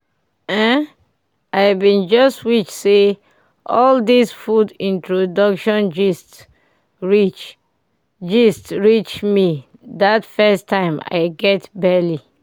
ehn! i bin just wish say all this food introduction gist reach gist reach me that first time i get belly.